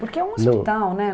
não. Porque é um hospital, né?